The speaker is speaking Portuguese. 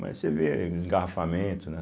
Mas você vê engarrafamento, né?